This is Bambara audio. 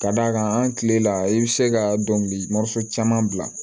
Ka d'a kan an kile la i bɛ se ka dɔnkili caman bila